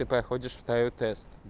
и проходишь второй тест